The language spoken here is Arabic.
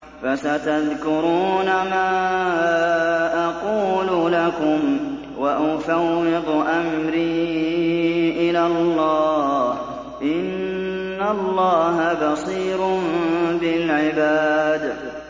فَسَتَذْكُرُونَ مَا أَقُولُ لَكُمْ ۚ وَأُفَوِّضُ أَمْرِي إِلَى اللَّهِ ۚ إِنَّ اللَّهَ بَصِيرٌ بِالْعِبَادِ